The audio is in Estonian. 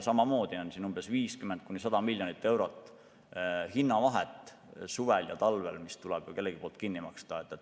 Samamoodi on siin 50–100 miljonit eurot hinnavahet suvel ja talvel, mis tuleb ka kellelgi kinni maksta.